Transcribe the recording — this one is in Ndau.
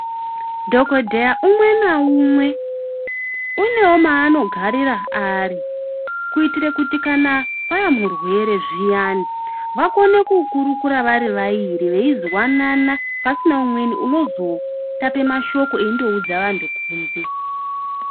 Dhogodheya umwe naumwe unomaanogarira ari. Kuitira kuti pauya murwere zviyani vakone kukurukura vari vairi veizwanana, pasina umweni unozotape mashoko eindoudza antu kunze.